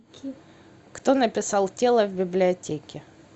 кто написал тело в библиотеке